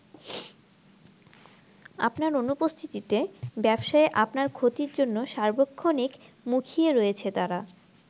আপনার অনুপস্থিতিতে ব্যবসায়ে আপনার ক্ষতির জন্য সার্বক্ষণিক মুখিয়ে রয়েছে তারা।